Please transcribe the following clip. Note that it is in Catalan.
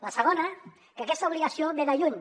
la segona que aquesta obligació ve de lluny